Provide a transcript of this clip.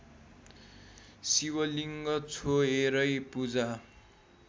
शिवलिङ्ग छोएरै पूजा